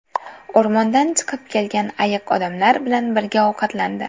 O‘rmondan chiqib kelgan ayiq odamlar bilan birga ovqatlandi .